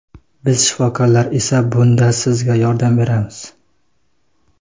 Biz shifokorlar esa bunda sizga yordam beramiz.